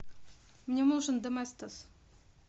мне нужен доместос